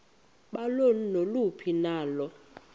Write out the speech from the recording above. balo naluphi na